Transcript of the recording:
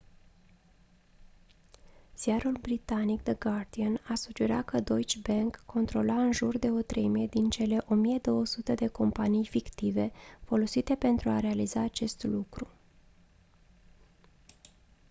ziarul britanic the guardian a sugerat că deutsche bank controla în jur de o treime din cele 1200 de companii fictive folosite pentru a realiza acest lucru